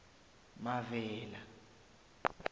mavela